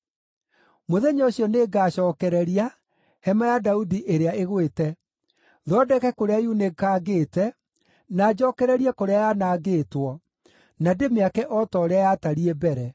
“Mũthenya ũcio nĩngacookereria hema ya Daudi ĩrĩa ĩgwĩte, thondeke kũrĩa yunĩkangĩte, na njookererie kũrĩa yanangĩtwo, na ndĩmĩake o ta ũrĩa yatariĩ mbere,